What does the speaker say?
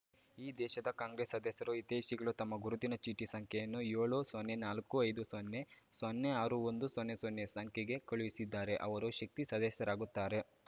ಈ ದೇಶದ ಕಾಂಗ್ರೆಸ್‌ ಸದಸ್ಯರು ಹಿತೈಷಿಗಳು ತಮ್ಮ ಗುರುತಿನ ಚೀಟಿ ಸಂಖ್ಯೆಯನ್ನು ಏಳು ಸೊನ್ನೆ ನಾಲ್ಕು ಐದು ಸೊನ್ನೆ ಸೊನ್ನೆ ಆರು ಒಂದು ಸೊನ್ನೆ ಸೊನ್ನೆ ಸಂಖ್ಯೆಗೆ ಕಳುಹಿಸಿದ್ದಾರೆ ಅವರು ಶಕ್ತಿ ಸದಸ್ಯರಾಗುತ್ತಾರೆ